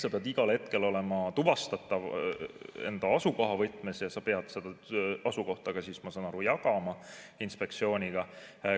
Sa pead igal hetkel olema tuvastatav enda asukoha võtmes ja sa pead seda asukohta ka, ma saan aru, jagama inspektsiooniga.